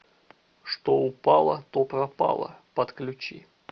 что упало то пропало подключи